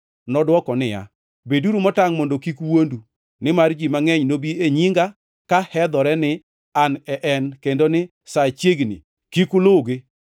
Nodwoko niya, “Beduru motangʼ mondo kik wuondu. Nimar ji mangʼeny nobi e nyinga ka hedhore ni, ‘An e en,’ kendo ni, ‘Sa chiegni,’ kik uluwgi.